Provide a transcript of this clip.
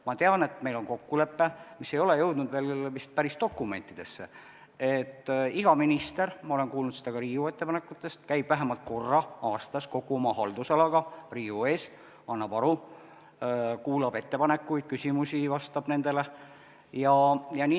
Ma tean, et meil on kokkulepe, mis ei ole jõudnud veel vist päris dokumentidesse, et iga minister käib vähemalt korra aastas kogu oma haldusala Riigikogu ees, annab aru, kuulab ettepanekuid ja küsimusi, vastab nendele.